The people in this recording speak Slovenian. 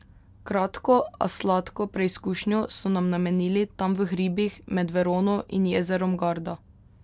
Kratko, a sladko preizkušnjo so nam namenili tam v hribih med Verono in jezerom Garda.